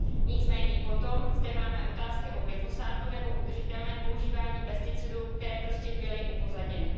Nicméně potom zde máme otázky o glyfosátu nebo udržitelném používání pesticidů, které prostě byly upozaděny.